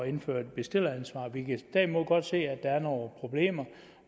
indføre bestilleransvar vi kan derimod godt se at der er nogle problemer